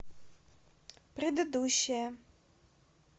предыдущая